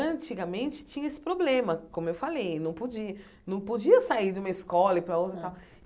Antigamente tinha esse problema, como eu falei, não podia não podia sair de uma escola ir para a outra e tal.